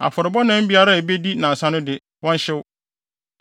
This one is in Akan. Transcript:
Afɔrebɔ nam biara a ebedi nnansa no de, wɔnhyew.